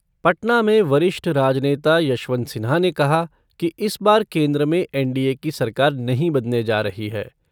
पटना में वरिष्ठ राजनेता यशवंत सिन्हा ने कहा कि इस बार केन्द्र में एनडीए की सरकार नहीं बनने जा रही है।